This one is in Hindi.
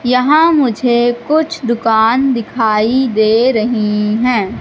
यहां मुझे कुछ दुकान दिखाई दे रहे हैं।